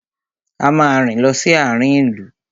A máa rìn lọ sí àarin ìlú.